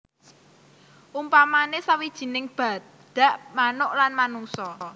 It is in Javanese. Umpamane sawijining badak manuk lan manungsa